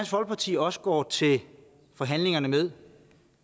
folkeparti også går til forhandlingerne med